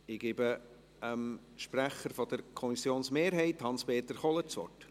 Ich gebe dem Sprecher der Kommissionsmehrheit, Hans-Peter Kohler, das Wort.